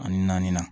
Ani naani